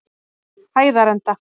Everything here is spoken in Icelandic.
Hæðarenda